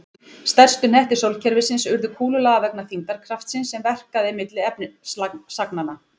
Stærstu hnettir sólkerfisins urðu kúlulaga vegna þyngdarkraftsins sem verkaði milli efnisagnanna.